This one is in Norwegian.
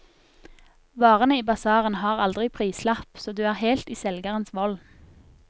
Varene i basarene har aldri prislapp, så du er helt i selgerens vold.